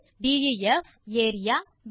ஆகவே பங்ஷன் ஐ இப்படி டிஃபைன் செய்யலாம்